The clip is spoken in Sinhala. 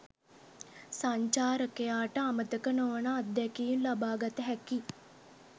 සංචාරකයාට අමතක නොවන අත්දැකීම් ලබාගත හැකි